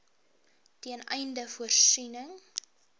ten einde voorsiening